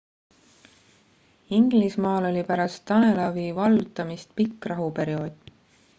inglismaal oli pärast danelawi vallutamist pikk rahuperiood